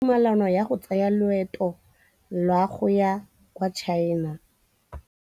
O neetswe tumalanô ya go tsaya loetô la go ya kwa China.